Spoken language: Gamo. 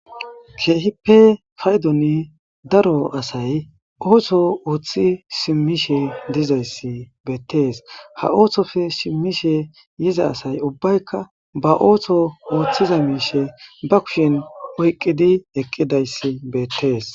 Kehippa paydon daaro asay oso oththi simmishe diizaysi bettes ha oththope simmishe yiiza assay ubbayka ba oththo oththiza mishshe ba kushshen oyqqi eqqidayssi bettes.